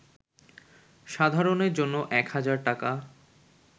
সাধারণের জন্য এক হাজার টাকা